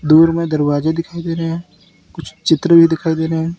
दूर में दरवाजे दिखाई दे रहे हैं कुछ चित्र भी दिखाई दे रहे हैं।